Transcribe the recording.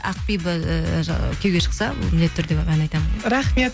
ақбибі і күйеуге шықса міндетті түрде барып ән айтамын рахмет